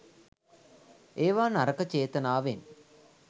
ඒවා නරක චේතනාවෙන්